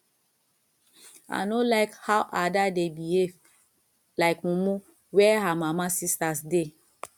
i no like how ada dey behave like mumu where her mama sisters dey